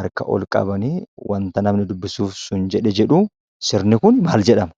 harka ol qabanii wanta namni dubbisuuf sun jedhe jedhu. Sirni kun maal jedhama?